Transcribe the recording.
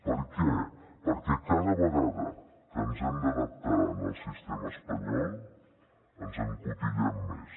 per què perquè cada vegada que ens hem d’adaptar al sistema espanyol ens encotillem més